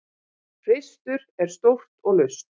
hreistur er stórt og laust